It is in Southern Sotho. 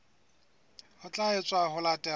ho tla etswa ho latela